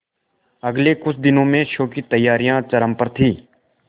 अगले कुछ दिनों में शो की तैयारियां चरम पर थी